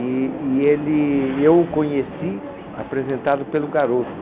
E e ele e eu o conheci apresentado pelo garoto.